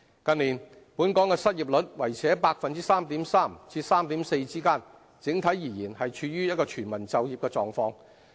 近年，本港的失業率維持在 3.3% 至 3.4% 之間，整體而言，是處於全市就業的狀況。